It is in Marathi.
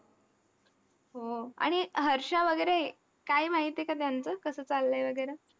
हो. आणि हर्षा वगैरे काय माहिती आहे का त्यांचं, कसं चाललंय वगैरं?